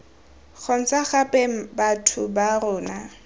kgontsha gape batho ba rona